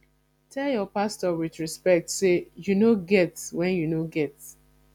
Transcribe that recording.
tell your pastor with respect say you no get when you no get